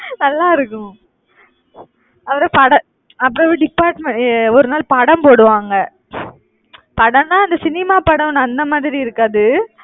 நல்லா இருக்கும் அப்புறம் படம் அப்புறம் department அஹ் ஒரு நாள் படம் போடுவாங்க. படம்ன்னா அந்த cinema படம் அந்த மாதிரி இருக்காது.